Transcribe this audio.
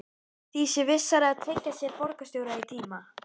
Því sé vissara að tryggja sér borgarstjóra í tíma.